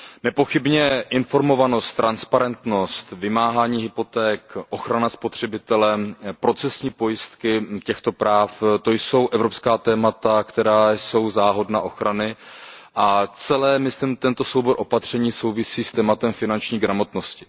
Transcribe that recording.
Nepochybně informovanost, transparentnost, vymáhání hypoték, ochrana spotřebitele, procesní pojistky těchto práv, to jsou evropská témata, která jsou hodna ochrany a celý tento soubor opatření souvisí s tématem finanční gramotnosti.